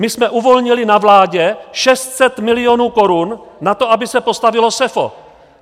My jsme uvolnili na vládě 600 milionů korun na to, aby se postavilo SEFO.